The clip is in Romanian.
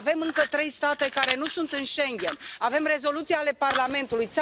Avem încă trei state care nu sunt în Schengen, avem rezoluții ale Parlamentului.